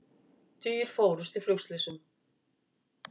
Tugir fórust í flugslysum